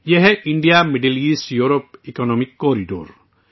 یہ India Middle East Europe economic corridor ہے